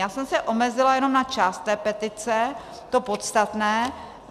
Já jsem se omezila jenom na část té petice, to podstatné.